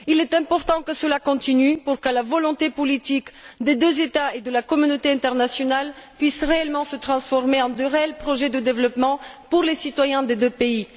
Il est important que cela continue pour que la volonté politique des deux États et de la communauté internationale puisse réellement se transformer en réels projets de développement pour les citoyens des deux pays.